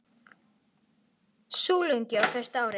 Súluungi á fyrsta ári.